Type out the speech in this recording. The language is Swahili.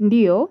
Ndiyo,